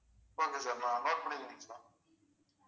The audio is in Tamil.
ஒரு நிமிஷம் note பண்ணிக்கிறீங்களா